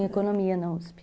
Em Economia na uspi.